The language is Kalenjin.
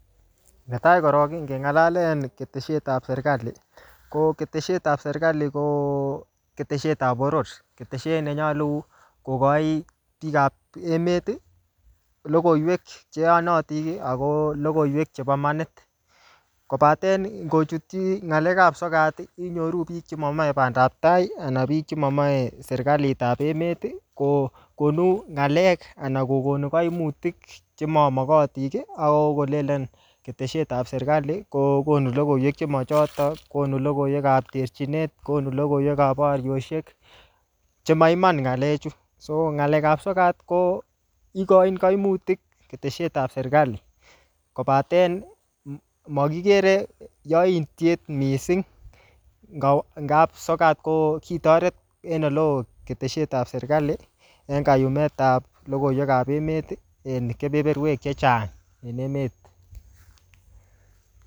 Netai korok ngengalale ketesietab sergali ko ketesietab sergali ko ketesietab boror. Ketesiet nenyalu kogoi biikab emet logoiywek che yonotin ago logoywek chebo imanit. Kobaten ingochutyi ngalekab sokat inyoru biik che momoe bandab tai anan biik chemomoe sergalitab emet kokonu ngakek anan kokonu kaimutik che mamogotin ak kolenen ketesietab sergali kokonu logoiywek chemachoto, konu logoiywekab terchinet, konu logoiywekab boriosiek chemaiman ngalechu. Ngalekab sogat ko igoin kaimutik ketesietab sergali kopaten mokigere yoityet mising ngab sogat ko kitoret en oleo ketesietab sergali en kayumetab logoiywekab emet en keberberwek chechang en emet.